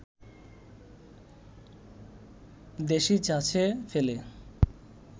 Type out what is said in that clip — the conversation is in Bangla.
দেশী ছাঁচে ফেলে